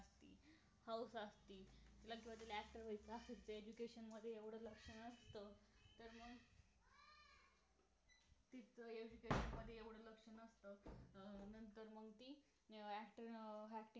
हौस असते तिला किंवा actor व्हायचं असत education मध्ये एवढं लक्ष नसतं तिझ education मध्ये एवढं लक्ष नसतं अं नंतर मग ती actor